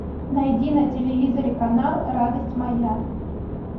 найди на телевизоре канал радость моя